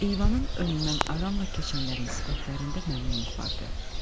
Eyvanın önündən aramla keçənlərin sifətlərində məmnunluq vardı.